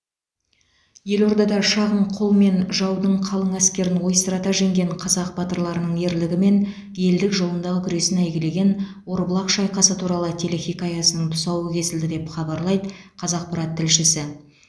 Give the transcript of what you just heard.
елордада шағын қолмен жаудың қалың әскерін ойсырата жеңген қазақ батырларының ерлігі мен елдік жолындағы күресін әйгілеген орбұлақ шайқасы туралы телехикаясының тұсауы кесілді деп хабарлайды қазақпарат тілшісі